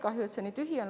Kahju, et see nii tühi on.